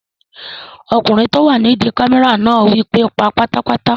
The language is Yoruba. Ọkùnrin tó wà nídi kámẹ́rà náà wí pé "pa á pátápátá!"